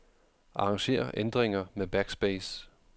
Arranger ændringer med backspace.